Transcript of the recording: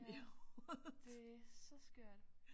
Ja det er så skørt